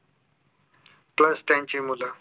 plus त्यांची मुलं